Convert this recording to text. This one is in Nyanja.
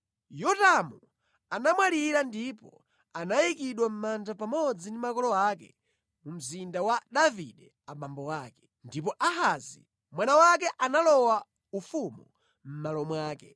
Yotamu anamwalira ndipo anayikidwa mʼmanda pamodzi ndi makolo ake mu Mzinda wa Davide abambo ake. Ndipo Ahazi mwana wake analowa ufumu mʼmalo mwake.